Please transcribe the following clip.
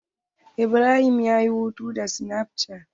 Ibrahim ya yi hoto da sinaf cat.